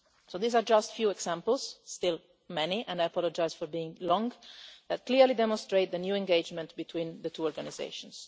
These are just few examples still many, and I apologise for being long that clearly demonstrate the new engagement between the two organisations.